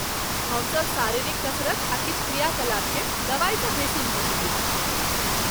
हमसभ शारीरिक कसरत आ किछु क्रियाकलाप केँ दवाइसँ बेसी महत्व दैत छी।